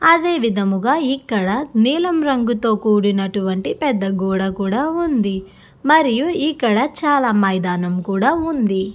అదే విధముగా ఇక్కడ నీలం రంగుతో కూడినటువంటి పెద్ద గోడ కూడా ఉంది మరియు ఇక్కడ చాలా మైదానం కూడా ఉంది.